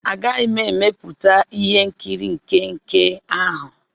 Agaghị m emepụta ihe nkiri nke nke ahụ.